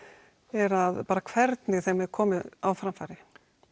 er að bara hvernig þeim er komið á framfæri